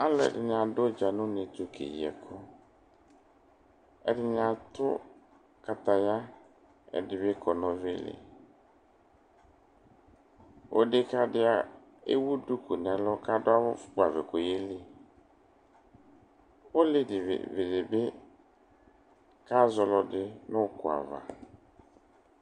Alʋɛdɩnɩ adʋ ʋdza nʋ une tʋ keyi ɛkʋ Ɛdɩnɩ atʋ kataya Ɛdɩ bɩ kɔ nʋ ɔvɛ li Odekǝ dɩ ewu duku nʋ ɛlʋ kʋ afʋkpavɛ kʋ ɔyeli Olevi dɩ bɩ kazɔ ɔlɔdɩ nʋ ʋkʋ ava